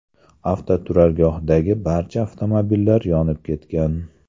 Avtoturargohdagi barcha avtomobillar yonib ketgan.